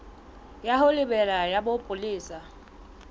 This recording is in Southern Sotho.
ya ho lebela ya bopolesa